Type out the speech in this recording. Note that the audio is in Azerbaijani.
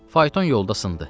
Fayton yolda sındı.